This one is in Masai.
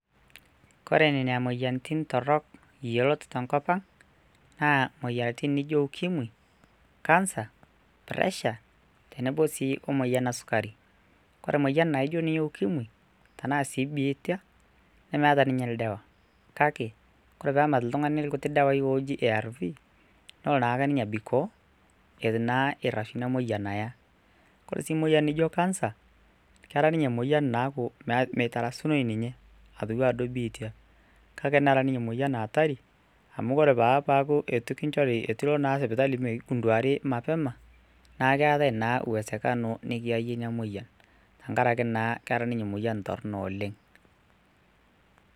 Kore nenia moyiarritin torrok yiolot te nkopang naa moyiarritin nijo ukimwi, cancer, pressure tenebo sii omoyian esukari, kore moyian naijo ninye ukimwi tanaa sii ebiitia nemeta niinye ildawa kake kore peemat ltungani lkutii dawaai ooji ARVS nelo naa ninye abikoo etu naa eirasgu ina moyian aya, kore sii moyian nijo cancer kera ninye moyian naku meitarasunoi ninye atuado ibiitia kake nera ninye moyian hatari cs] amu ore naa paku atu kinchori etu ilo naa sipitali meigunduari mapema naa keatae naa uwesekano nikieayei ina moyian tengaraki naa kera ninye moyian torino oleng.